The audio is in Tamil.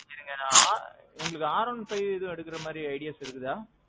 இருங்க நான். உங்களுக்கு R one five ஏதும் எடுக்குற மாறி ideas இருக்குதா?